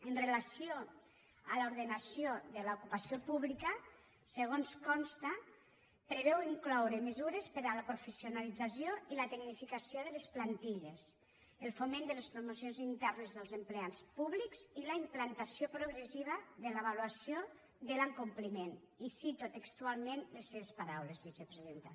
amb relació a l’ordenació de l’ocupació pública segons consta preveu incloure mesures per a la professionalització i la tecnificació de les plantilles el foment de les promocions internes dels empleats públics i la implantació progressiva de l’avaluació de l’acompliment i cito textualment les seves paraules vicepresidenta